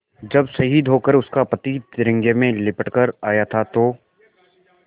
जब शहीद होकर उसका पति तिरंगे में लिपट कर आया था तो